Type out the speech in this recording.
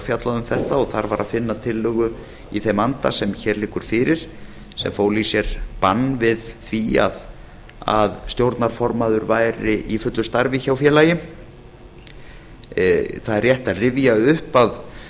um þetta og þar var að finna tillögu í þeim anda sem hér liggur fyrir sem fól í sér bann við því að stjórnarformaður væri í fullu starfi hjá félagi það er rétt að rifja upp að